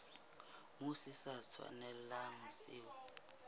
moo se sa tshwanelang se